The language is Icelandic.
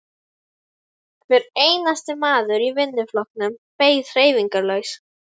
Hver einasti maður í vinnuflokknum beið hreyfingarlaus.